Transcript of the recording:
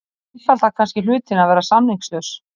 Það einfaldar kannski hlutina að vera samningslaus.